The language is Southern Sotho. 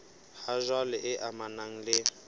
ha jwale e amanang le